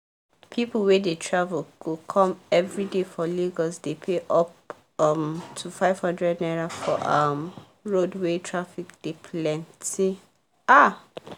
people wey dey travel go come everyday for lagos dey pay up um to 500naira for um road wey traffic dey plenty um